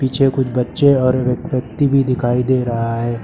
पीछे कुछ बच्चे और व व्यक्ति भी दिखाई दे रहा है।